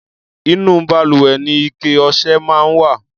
Inú balùwẹ̀ ni ike ọṣẹ máa ń wà.